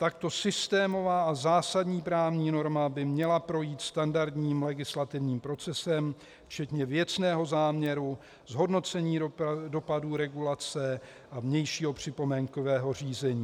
Takto systémová a zásadní právní norma by měla projít standardním legislativním procesem včetně věcného záměru, zhodnocení dopadu regulace a vnějšího připomínkového řízení.